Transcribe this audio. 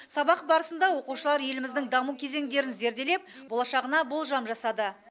сабақ барысында оқушылар еліміздің даму кезеңдерін зерделеп болашағына болжам жасады